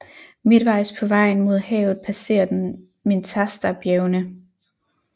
Midtvejs på vejen mod havet passerer den Mentastabjergene